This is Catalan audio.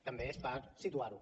també és per situar ho